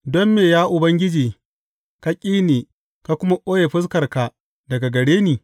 Don me, ya Ubangiji, ka ƙi ni ka kuma ɓoye fuskarka daga gare ni?